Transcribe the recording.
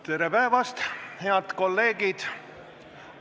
Tere päevast, head kolleegid!